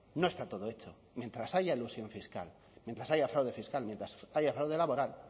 no está todo hecho mientras haya elusión fiscal mientras haya fraude fiscal mientras haya fraude laboral